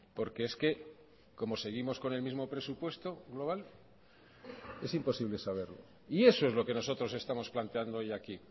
porque es que como seguimos con el mismo presupuesto global es imposible saberlo y eso es lo que nosotros estamos planteando hoy aquí